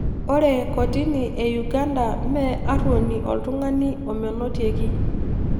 Ore te kotini e Uganda mee arruoni oltung'ani omenotieki